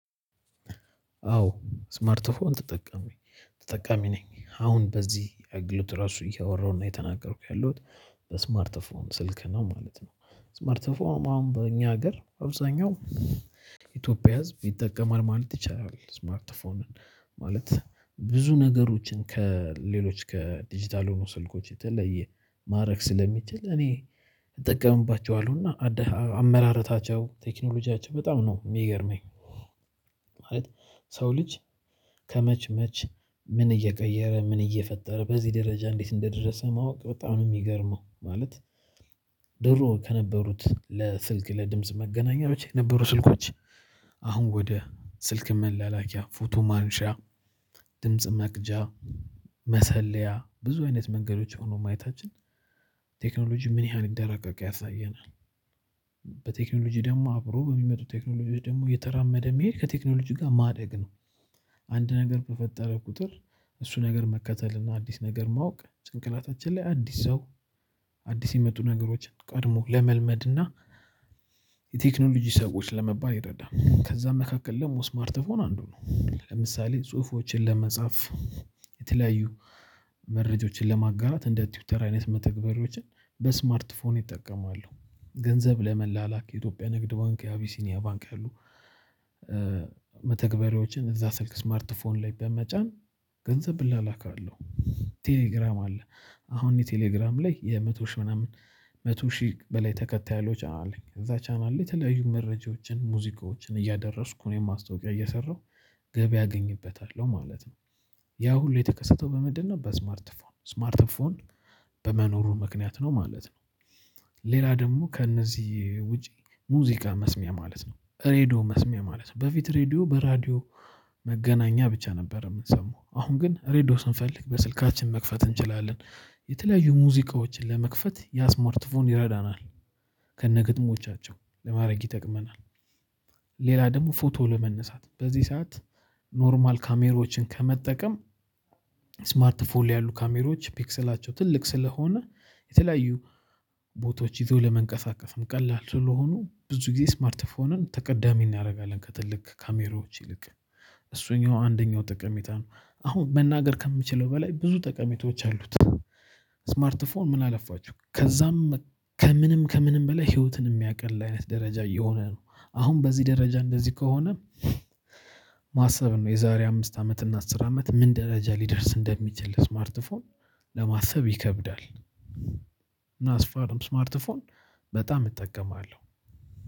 አዎ ስማርት ፎን ተጠቀመኝ ተጠቃሚ ነኝ አሁን በዚህ አግሎት ራሱ እያወራሁ ነው የተናገርኩት ያለሁት በስማርተ ስልክ ነው ማለት ነው። ስማርትፎን አሁን በእኛ ሀገር አብዛኛው ኢትዮጵያ ህዝብ ይጠቀማል ማለት ይቻላል። ስማርት ስልክን ማለት ብዙ ነገሮችን ከሌሎች ከዲጂታል ሆኖ ስልኮች የተለየ ማድረግ ስለሚችል እኔ እጠቀምባቸዋለሁ እና አመራረታቸው ቴክኖሎጂያቸው በጣም ነው የሚገርመኝ። ማለት የሰው ልጅ ከመቼ መቼ ምን እየቀየረ ምን እየፈጠረ በዚህ ደረጃ እንዴት እንደደረሰ ማወቅ በጣም ነው የሚገርመው። ማለት ድሮ ከነበሩት ለስልክ ለድምጽ መገናኛዎች የነበሩ ስልኮች አሁን ወደ ስልክ መለላከያ ፎቶ ማንሻ ድምጽ መቅጃ መሰለያ ብዙ አይነት መንገዶች ሆኖ ማየታችን ቴክኖሎጂ ምን ያህል እደረቀቀ ያሳየናል። በቴክኖሎጂ ደግሞ አብሮ በሚመጡት ቴክኖሎጂ ደግሞ የተራመደ መሄድ ከቴክኖሎጂ ጋር ማደግ ነው። አንድ ነገር በፈጠረ ቁጥር እሱ ነገር መከተል እና አዲስ ነገር ማወቅ ጭንቅናታችን ላይ አዲስ ሰው አዲስ የመጡ ነገሮችን ቀድሞ ለመልመድ እና የቴክኖሎጂ ሰዎች ለመባል ይረዳል። ከዛ መካከል ደግሞ ስማርት ፎን አንዱ ነው። ለምሳሌ ጽሁፎችን ለመጻፍ የተለያዩ መረጃዎችን ለማጋራት እንደ ትዊተር አይነት መተግበሪዎችን በስማርት ፎን ይጠቀማሉ ገንዘብ ለመላላክ የኢትዮጵያ ንግድ ባንክ አቢሲኒያ ባንክ ያሉ መተግበሪያዎችን እዛ ስልክ ስማርፎን ላይ በመጫን ገንዘብ እላላካለሁ። ቴሌግራም አለ አሁን የቴሌግራም ላይ የመቶ ሺህ ምናምን መቶ ሺህ በላይ ተከታይ ያሎች አለኝ። ከዛ ቻናል ላይ የተለያዩ መረጃዎችን ሙዚቃዎችን እያደረስኩ እኔም ማስታወቂያ እየሰራሁ ገቢ አገኝበታለሁ ማለት ነው። ያ ሁሉ የተከሰተው በምንድነው? በስማርትፎን ስማርትፎን በመኖሩ ምክንያት ነው ማለት ነው። ሌላ ደግሞ ከእነዚህ ውጪ ሙዚቃ መስሚያ ማለት ነው ሬድዮ መስሚያ ማለት ነው በፊት ሬድዮ በራዲዮ መገናኛ ብቻ ነበር የምንሰማው አሁን ግን ሬድዮ ስንፈልግ በስልካችን መክፈት እንችላለን የተለያዩ ሙዚቃዎችን ለመክፈት ያስመርትፉን ይረዳናል። ከነ ግጥሞቻቸው ለማድረግ ይጠቅመናል። ሌላ ደግሞ ፎቶ ለመነሳት በዚህ ሰዓት ኖርማል ካሜሮችን ከመጠቀም ስማርት ፎር ያሉ ካሜሮች ፒክሰላቸው ትልቅ ስለሆነ የተለያዩ ቦታዎች ይዘው ለመንቀሳቀስም ቀላል ስለሆኑ ብዙ ጊዜ ስማርት ስማርትፎንን ተቀዳሚ እናደርጋለን። ከትልቅ ካሜሮዎች ይልቅ እሱኛው አንደኛው ጥቅሚታ ነው። አሁን መናገር ከምችለው በላይ ብዙ ጠቀሜታዎች አሉት። ስማርት ምን አለፋችሁ? ከዛም ከምንም ከምንም በላይ ህይወትን የሚያቀል አይነት ደረጃ የሆነ ነው። አሁን በዚህ ደረጃ እንደዚህ ከሆነ ማሰብ ነው የዛሬ አምስት አመት እና አስር አመት ምን ደረጃ ሊደርስ እንደሚችል? ስማርትፎን ለማሰብ ይከብዳል። እና ስማርትፎን በጣም እጠቀማለሁ